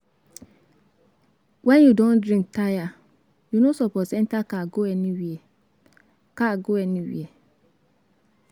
When you don drink tire, you no suppose enter car go anywhere car go anywhere